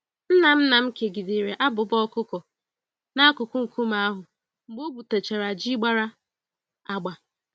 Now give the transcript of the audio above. Nna nna m kegidere abụba ọkụkọ n'akụkụ nkume ahụ mgbe o gwutachara ji gbàrà agba